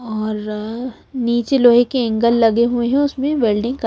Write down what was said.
और नीचे लोहे के एंगल लगे हुए हैं उसमें वेल्डिंग का--